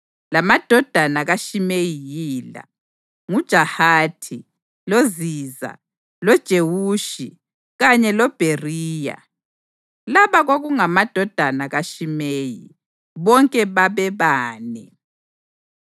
Lamadodana kaShimeyi yila: nguJahathi, loZiza, loJewushi kanye loBheriya. Laba kwakungamadodana kaShimeyi, bonke babebane.